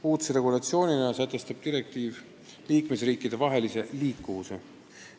Uudse regulatsioonina sätestab direktiiv liikmesriikidevahelise liikumise.